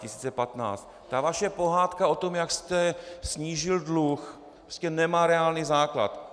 Ta vaše pohádka o tom, jak jste snížil dluh, prostě nemá reálný základ.